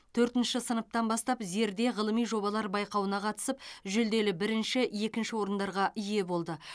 төртінші сыныптан бастап зерде ғылыми жобалар байқауына қатысып жүлделі бірінші екінші орындарға ие болды